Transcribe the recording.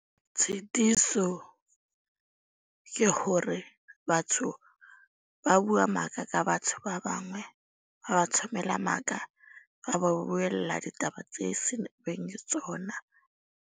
Tshitiso ke hore batho ba bua maka, ka batho ba bangwe. Ba ba maka. Ba ba buella ditaba tse seng beng le tsona.